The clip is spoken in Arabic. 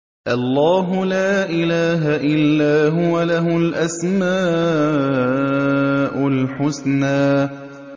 اللَّهُ لَا إِلَٰهَ إِلَّا هُوَ ۖ لَهُ الْأَسْمَاءُ الْحُسْنَىٰ